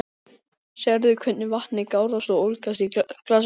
Sérðu hvernig vatnið gárast og ólgar í glasinu?